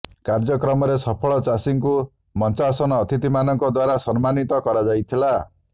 କାର୍ଯ୍ୟକ୍ରମରେ ସଫଳ ଚାଷୀଙ୍କୁ ମଞ୍ଚାସନ ଅତିଥିମାନଙ୍କ ଦ୍ୱାରା ସମ୍ମାନିତ କରାଯାଇଥିଲା